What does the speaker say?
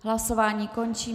Hlasování končím.